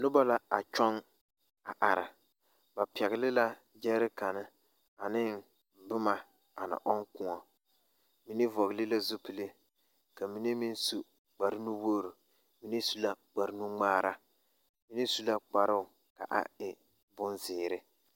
Nobɔ la a kyɔŋ a are ba pɛgle la gyɛɛrikare aneŋ boma ana ɔŋ kõɔ mine vɔgle la zupile ka mine meŋ su kparenuwogre mine su la kparwnungmaara mine su la kparoo ka a e bonzeere.